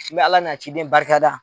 N bɛ Ala n'a ciden barikada